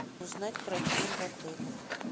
узнать про тир в отеле